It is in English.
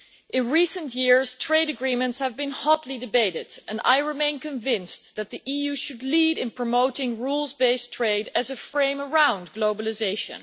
In recent years, trade agreements have been hotly debated and I remain convinced that the EU should lead in promoting rules based trade as a frame around globalisation.